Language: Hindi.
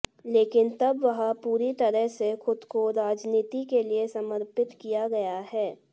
लेकिन तब वह पूरी तरह से खुद को राजनीति के लिए समर्पित किया गया है